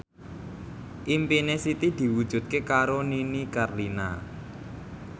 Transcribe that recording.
impine Siti diwujudke karo Nini Carlina